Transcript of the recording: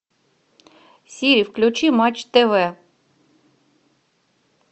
сири включи матч тв